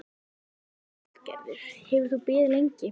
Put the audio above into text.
Lillý Valgerður: Hefur þú beðið lengi?